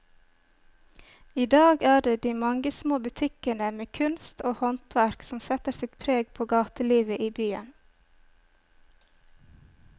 I dag er det de mange små butikkene med kunst og håndverk som setter sitt preg på gatelivet i byen.